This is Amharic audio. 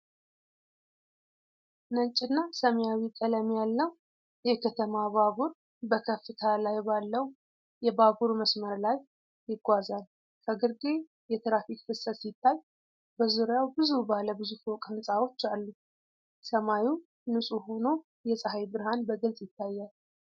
ነጭና ሰማያዊ ቀለም ያለው የከተማ ባቡር በከፍታ ላይ ባለው የባቡር መስመር ላይ ይጓዛል። ከግርጌ የትራፊክ ፍሰት ሲታይ፤ በዙሪያው ብዙ ባለ ብዙ ፎቅ ሕንፃዎች አሉ። ሰማዩ ንጹህ ሆኖ የፀሐይ ብርሃን በግልጽ ይታያል።